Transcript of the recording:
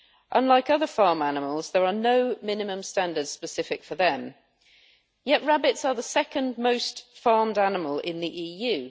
Unlike other farm animals, there are no minimum standards specific to them, yet rabbits are the second most farmed animal in the EU.